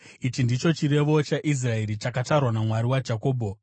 ichi ndicho chirevo chaIsraeri, chakatarwa naMwari waJakobho.